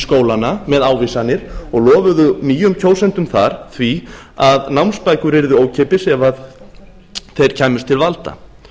skólana með ávísanir og lofuðu nýjum kjósendum þar því að námsbækur yrðu keypti sef þeir kæmust til valda